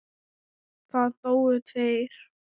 Það dóu tveir.